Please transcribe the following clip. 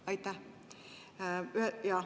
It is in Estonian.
Aitäh!